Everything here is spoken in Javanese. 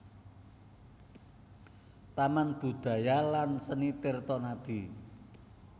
Taman Budaya lan Seni Tirtonadi